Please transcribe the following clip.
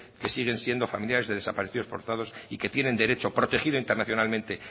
que siguen siendo familiares de desaparecidos forzados y que tienen derecho protegido internacionalmente